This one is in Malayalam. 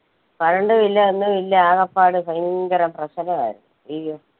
current ഉ ഇല്ല ഒന്ന് ഇല്ല ആകപ്പാട് ഭയങ്കരം പ്രശ്നമായിരുന്നു അയ്യോ